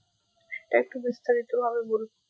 তাই একটু বিস্তারিত ভাবে বলুন,